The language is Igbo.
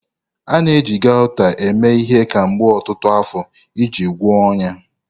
A na-eji Gauta eme ihe kemgbe ọtụtụ afọ iji gwọọ ọnyá.